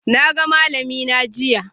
Na ga malamina jiya.